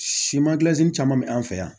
Siman gilansi caman bɛ an fɛ yan